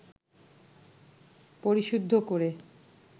পরিশুদ্ধ করে